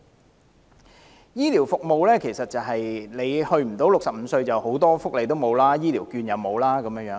關於醫療服務，如果未滿65歲，很多福利如醫療券也不能享有。